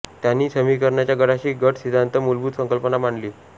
त्यांनी समीकरणाच्या गटाची गट सिद्धांत मूलभूत संकल्पना मांडली